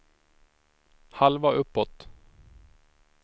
halva uppåt